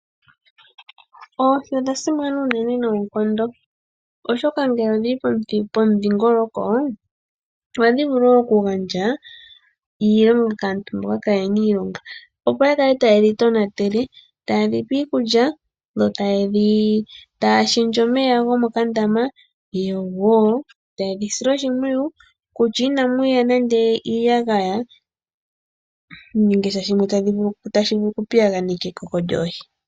Oohi odha simana unene noonkondo, oshoka ngele odhi li pomudhingoloko ohadhi vulu okugandja iilonga kaantu mboka kaye na iilonga, opo ya kale taye dhi tonatele, taye dhi pe iikulya yo taya shendje omeya gomo ka ndama, yo woo taya dhi sile oshimpwiyu kutya inamu ya iiyagaya nenge sha tashi vulu oku piyaganeka ekoko lyoohi.